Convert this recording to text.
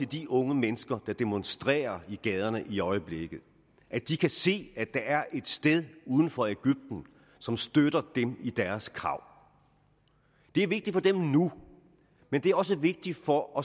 de unge mennesker som demonstrerer i gaderne i øjeblikket at de kan se at der er et sted uden for egypten som støtter dem i deres krav det er vigtigt for dem nu men det er også vigtigt for